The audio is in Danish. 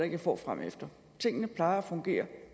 jeg får fremefter tingene plejer at fungere